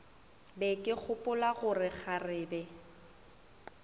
be ke gopola gore kgarebe